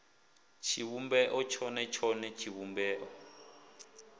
tshivhumbeo tshone tshone ya tshivhumbeo